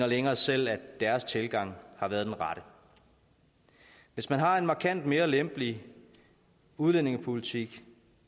længere selv at deres tilgang har været den rette hvis man har en markant mere lempelig udlændingepolitik